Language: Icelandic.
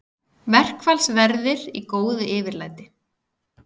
Verkfallsverðir í góðu yfirlæti